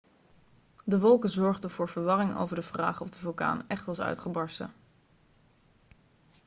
de wolken zorgden voor verwarring over de vraag of de vulkaan echt was uitgebarsten